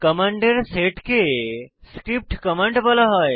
কমান্ডের সেটকে script command script command বলা হয়